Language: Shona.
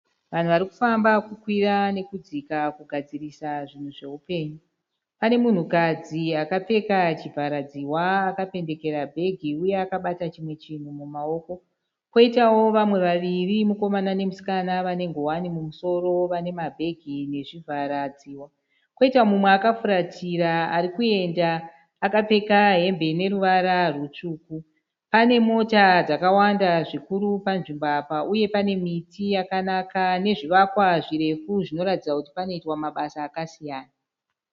Vanhu vari kufamba kukwira nekudzika kugadzirisa zvinhu zveupenyu. Pane munhukadzi akapfeka chivharadzihwa akapendekera bhegi uye akabata chimwe chinhu mumaoko. Kwoitawo vamwe vaviri mukomana nemusikana vane nguwani mumusoro vane mabhegi nezvivharadzihwa. Kwoita umwe akafuratira ari kuenda akapfeka hembe ine ruvara rutsvuku. Pane mota dzakawanda zvikuru panzvimbo apa uye pane miti yakanaka nezvivakwa zvirefu zvinoratidza kuti panoitwa mabasa akasiyana.